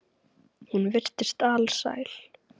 Hún virtist alsæl.